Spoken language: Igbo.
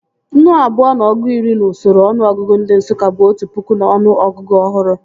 Nnu abụọ na ọgụ iri n'usoro ọnụọgụgụ ndị Nsụka bụ otu pụkụ n'ọnụ ọgụgụ ọhụrụ